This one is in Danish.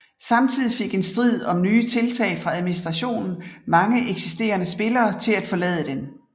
Samtidig fik en strid over nye tiltag fra administrationen mange eksisterende spillere til at forlade den